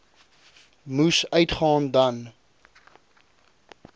moes uitgaan dan